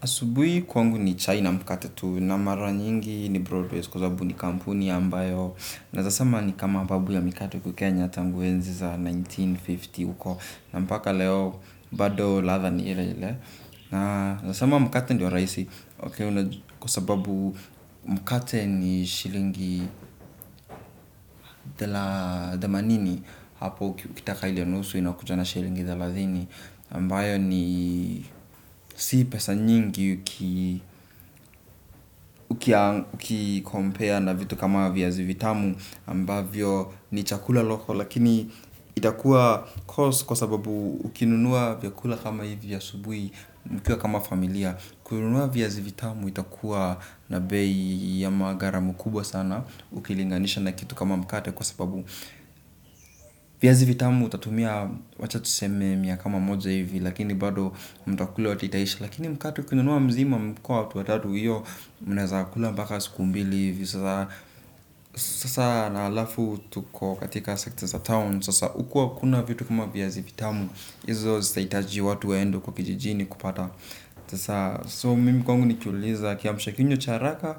Asubui kwangu ni China mkate tu na mara nyingi ni Broadways kwa zabu ni kampuni ambayo naeza sema ni kama babu ya mikate huku Kenya tangu enzi za elfu moja na mia tisa na hamsini uko na mpaka leo badoo ladha ni ile ile na nasema mkate ndio raisi kwa sababu mkate ni shilingi dhemanini hapo ukitaka ile nusu inakuja na shilingi thelathini ambayo ni si pesa nyingi. Uki compare na vitu kama viazi vitamu ambavyo ni chakula loko. Lakini itakua. Kwa sababu ukinunua vyakula kama hivi asubui. Mkiwa kama familia. Kununua viazi vitamu itakua na bei ya magaramo kubwa sana. Ukilinganisha na kitu kama mkate. Kwa sababu viazi vitamu utatumia. Wacha tuseme miya kama moja hivi. Lakini bado mtakula wote itaishi. Lakini mkate ukinunua mzima mkiwa watu watatu hiyo munaeza kula mpaka siku mbili hivi. Sasa na alafu tuko katika secta za town. Sasa uku akuna vitu kuma viazi vitamu. Izo saitaji watu waende huko kijijini. Kupata So mimi kwangu nikiulizwa kiamsha kinywa cha haraka.